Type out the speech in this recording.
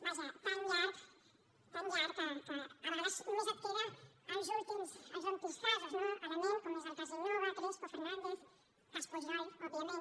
vaja tan llarg tan llarg que a vegades només et queden els últims casos no a la ment com és el cas innova crespo fernández cas pujol òbviament